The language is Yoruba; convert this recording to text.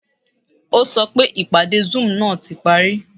O sọ pé ìpadé zoom ná ti parí